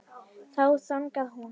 Þá þagnaði hún.